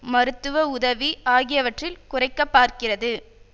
மருத்துவ உதவி ஆகியவற்றில் குறைக்க பார்க்கிறது